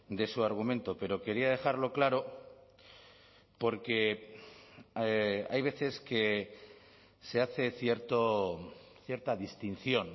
de su argumento pero quería dejarlo claro porque hay veces que se hace cierta distinción